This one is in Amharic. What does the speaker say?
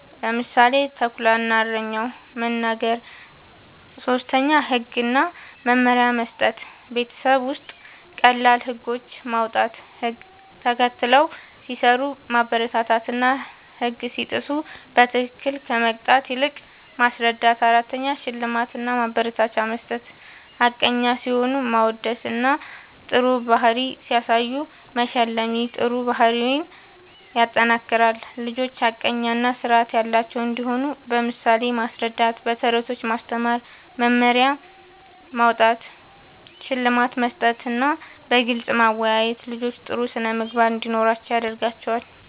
(ምሳሌ፦ “ተኩላ እና እረኛው”) መናገር። ፫. ህግ እና መመሪያ መስጠት፦ ቤት ውስጥ ቀላል ህጎች ማዉጣት፣ ህግ ተከትለው ሲሰሩ ማበረታታትና ህግ ሲጥሱ በትክክል ከመቅጣት ይልቅ ማስረዳት ፬. ሽልማት እና ማበረታቻ መስጠት፦ ሐቀኛ ሲሆኑ ማወደስና ጥሩ ባህሪ ሲያሳዩ መሸለም ይህ ጥሩ ባህሪን ያጠናክራል። ልጆች ሐቀኛ እና ስርዓት ያላቸው እንዲሆኑ በምሳሌ ማስረዳት፣ በተረቶች ማስተማር፣ መመሪያ ማዉጣት፣ ሽልማት መስጠትና በግልጽ ማወያየት ልጆች ጥሩ ስነ ምግባር እንዲኖራቸዉ ያደርጋል